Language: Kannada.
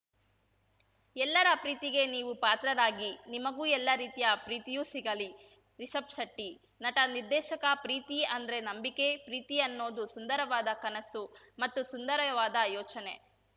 ಎಲ್ಲರ ಪ್ರೀತಿಗೆ ನೀವು ಪಾತ್ರರಾಗಿ ನಿಮಗೂ ಎಲ್ಲ ರೀತಿಯ ಪ್ರೀತಿಯೂ ಸಿಗಲಿ ರಿಷಬ್‌ ಶೆಟ್ಟಿ ನಟನಿರ್ದೇಶಕ ಪ್ರೀತಿ ಅಂದ್ರೆ ನಂಬಿಕೆ ಪ್ರೀತಿ ಅನ್ನೋದು ಸುಂದರವಾದ ಕನಸು ಮತ್ತು ಸುಂದರವಾದ ಯೋಚನೆ